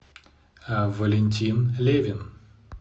валентин левин